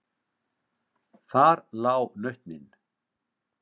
Þar lá nautnin.